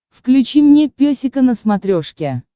включи мне песика на смотрешке